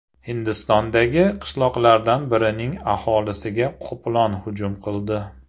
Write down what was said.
Hindistondagi qishloqlardan birining aholisiga qoplon hujum qildi .